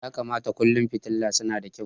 Ya kamata kullum fitila suna da kyau.